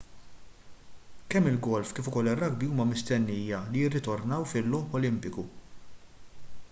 kemm il-golf kif ukoll ir-rugby huma mistennija li jirritornaw fil-logħob olimpiku